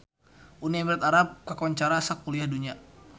Uni Emirat Arab kakoncara sakuliah dunya